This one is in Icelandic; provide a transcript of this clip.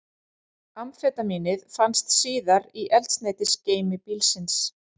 Amfetamínið fannst síðar í eldsneytisgeymi bílsins